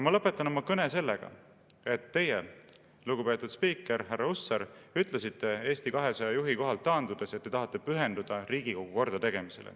Ma lõpetan oma kõne sellega, et teie, lugupeetud spiiker härra Hussar, ütlesite Eesti 200 juhi kohalt taandudes, et te tahate pühenduda Riigikogu kordategemisele.